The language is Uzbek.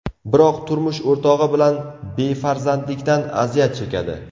Biroq turmush o‘rtog‘i bilan befarzandlikdan aziyat chekadi.